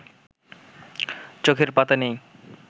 চোখের পাতা নেই